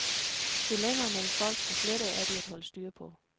Jo længere mellem folk, des lettere er de at holde styr på.